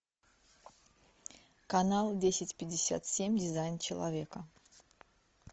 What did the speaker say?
канал десять пятьдесят семь дизайн человека